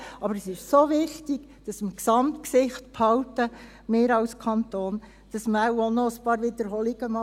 Aber es ist so wichtig, dass wir die Gesamtsicht behalten – wir als Kanton –, dass man wohl auch noch ein paar Wiederholungen ertragen kann.